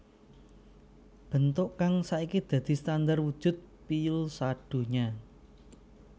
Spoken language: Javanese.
Bentuk kang saiki dadi standar wujud piyul sadonya